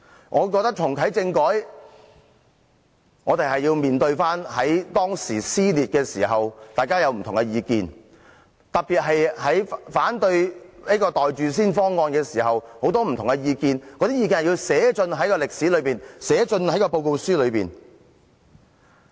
我認為若要重啟政改，我們便要重新面對撕裂之時，大家的不同意見，尤其在反對"袋住先"方案時，大家有很多不同的意見，那些意見是需要寫進歷史、寫進報告書的。